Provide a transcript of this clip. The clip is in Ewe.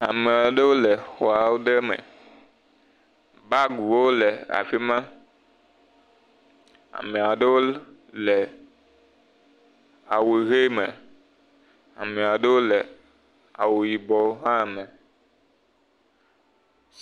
ame aɖewo le xɔawo ɖe me bagwo le afima ameaɖewo awu ɣe me ameaɖewo le awu yibɔ hã me